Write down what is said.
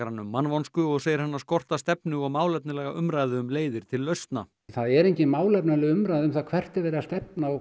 hana um mannvonsku og segir hana skorta stefnu og málefnalega umræðu um leiðir til lausna það er engin málefnaleg umræða um hvert er verið að stefna og